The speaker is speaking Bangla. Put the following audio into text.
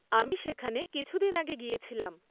আমি সেখানে কিছুদিন আগে গিয়েছিলাম।